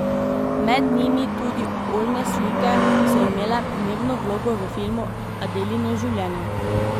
Med njimi tudi oljne slike, ki so imele pomembno vlogo v filmu Adelino življenje.